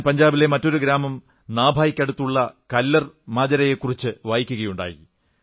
ഞാൻ പഞ്ചാബിലെ മറ്റൊരു ഗ്രാമം നാഭായ്ക്കടുത്തുള്ള കല്ലർ മാജരയെക്കുറിച്ച് വായിക്കയുണ്ടായി